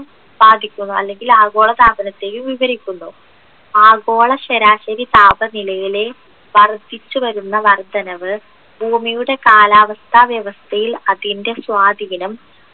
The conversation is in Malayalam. ബാധിക്കുന്നു അല്ലെങ്കിൽ ആഗോളതാപനത്തെയും വിവരിക്കുന്നു ആഗോളശരാശരി താപനിലയിലെ വർദ്ധിച്ചുവരുന്ന വർദ്ധനവ് ഭൂമിയുടെ കാലാവസ്ഥ വ്യവസ്ഥയിൽ അതിൻ്റെ സ്വാധിനം